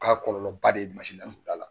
kɔlɔlɔ ba de ye a fila la.